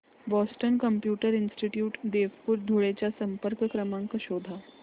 Boston computer institute Deopur Dhule चा संपर्क क्रमांक शोध